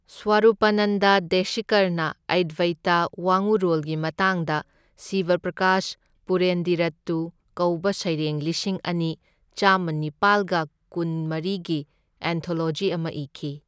ꯁ꯭ꯋꯔꯨꯄꯅꯟꯗ ꯗꯦꯁꯤꯀꯔꯅ ꯑꯠꯕꯩꯇ ꯋꯥꯉꯨꯔꯣꯜꯒꯤ ꯃꯇꯥꯡꯗ ꯁꯤꯕꯄ꯭ꯔꯀꯥꯁ ꯄꯦꯔꯨꯟꯗꯤꯔꯠꯇꯨ ꯀꯧꯕ ꯁꯩꯔꯦꯡ ꯂꯤꯁꯤꯡ ꯑꯅꯤ ꯆꯥꯡꯃꯃꯅꯤꯄꯥꯜꯒ ꯀꯨꯟꯃꯔꯤꯒꯤ ꯑꯦꯟꯊꯣꯂꯣꯖꯤ ꯑꯃ ꯏꯈꯤ꯫